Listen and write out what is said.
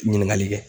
Ɲininkali kɛ